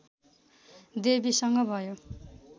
देवीसँग भयो